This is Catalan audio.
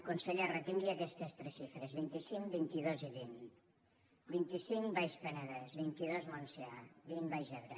conseller retingui aquestes tres xifres vint cinc vint dos i vint vint cinc baix penedès vint dos montsià vint baix ebre